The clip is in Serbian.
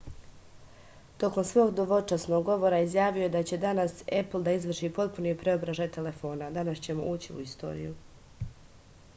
tokom svog dvočasovnog govora izjavio je da će danas epl da izvrši potpuni preobražaj telefona danas ćemo ući u istoriju